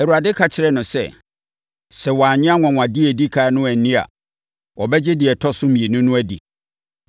Awurade ka kyerɛɛ no sɛ, “Sɛ wɔannye anwanwadeɛ a ɛdi ɛkan no anni a, wɔbɛgye deɛ ɛtɔ so mmienu no adi.